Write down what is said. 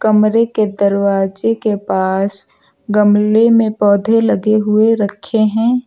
कमरे के दरवाजे के पास गमले में पौधे लगे हुए रखे हैं।